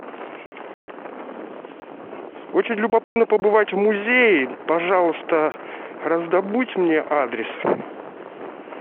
очень любопытно побывать в музее пожалуйста раздобудь мне адрес